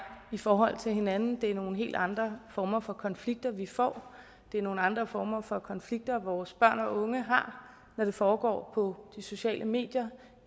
i forhold til hinanden det er nogle helt andre former for konflikter vi får det er nogle andre former for konflikter vores børn og unge har når det foregår på de sociale medier